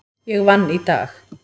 Ég vann í dag.